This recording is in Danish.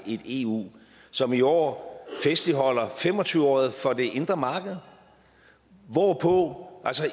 et eu som i år festligholder fem og tyve året for det indre marked hvorpå